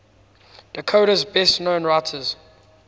dakota's best known writers